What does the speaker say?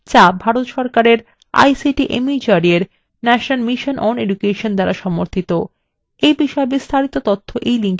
যা ভারত সরকারের ict mhrd এর national mission on education দ্বারা সমর্থিত